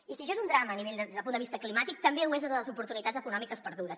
i si això és un drama des del punt de vista climàtic també ho és des de les oportunitats econòmiques perdudes